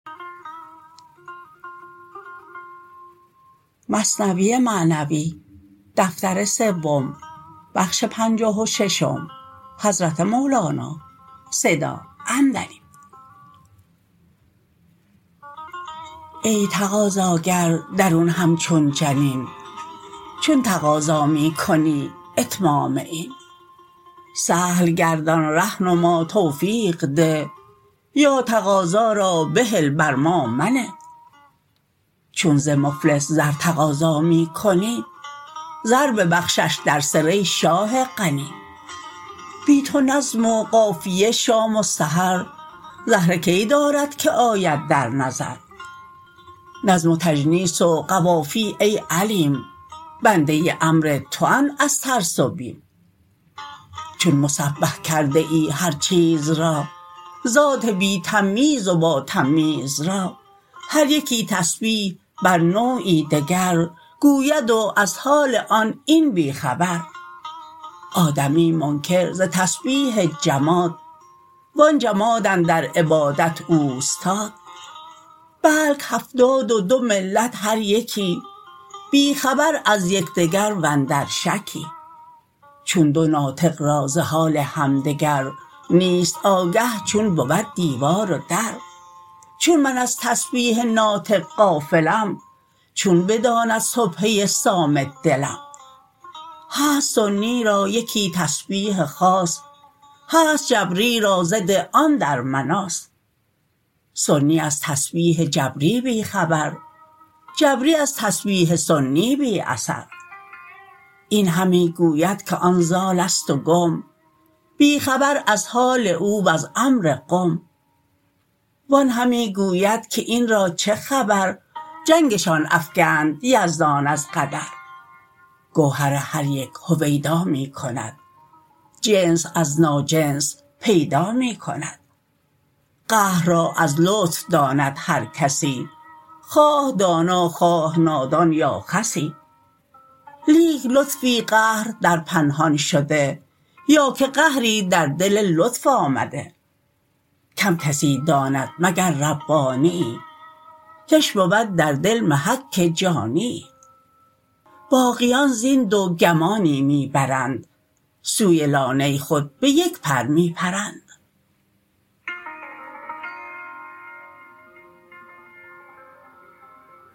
ای تقاضاگر درون همچون جنین چون تقاضا می کنی اتمام این سهل گردان ره نما توفیق ده یا تقاضا را بهل بر ما منه چون ز مفلس زر تقاضا می کنی زر ببخشش در سر ای شاه غنی بی تو نظم و قافیه شام و سحر زهره کی دارد که آید در نظر نظم و تجنیس و قوافی ای علیم بنده امر توند از ترس و بیم چون مسبح کرده ای هر چیز را ذات بی تمییز و با تمییز را هر یکی تسبیح بر نوعی دگر گوید و از حال آن این بی خبر آدمی منکر ز تسبیح جماد و آن جماد اندر عبادت اوستاد بلک هفتاد و دو ملت هر یکی بی خبر از یکدگر واندر شکی چون دو ناطق را ز حال همدگر نیست آگه چون بود دیوار و در چون من از تسبیح ناطق غافلم چون بداند سبحه صامت دلم هست سنی را یکی تسبیح خاص هست جبری را ضد آن در مناص سنی از تسبیح جبری بی خبر جبری از تسبیح سنی بی اثر این همی گوید که آن ضالست و گم بی خبر از حال او وز امر قم و آن همی گوید که این را چه خبر جنگشان افکند یزدان از قدر گوهر هر یک هویدا می کند جنس از ناجنس پیدا می کند قهر را از لطف داند هر کسی خواه دانا خواه نادان یا خسی لیک لطفی قهر در پنهان شده یا که قهری در دل لطف آمده کم کسی داند مگر ربانیی کش بود در دل محک جانیی باقیان زین دو گمانی می برند سوی لانه خود به یک پر می پرند